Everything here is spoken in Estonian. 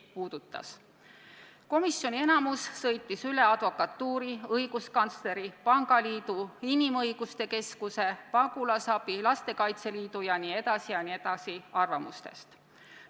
Samuti sõitis komisjoni enamus üle advokatuuri, õiguskantsleri, pangaliidu, inimõiguste keskuse, pagulasabi, Lastekaitse Liidu jt arvamustest.